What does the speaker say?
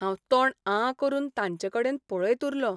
हांव तोंड आं करून तांचेकडेन पळयत उरलों.